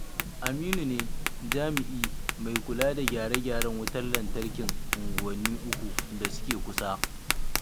Aminu ne jami'i mai kula da gyare-gyaren wutar lantarkin unguwanni 3 da suke kusa.